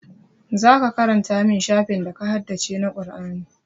Zaka karanta min shafin da ka haddace na Qur'ani